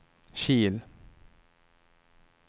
Kil